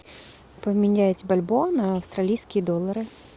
поменять бальбоа на австралийские доллары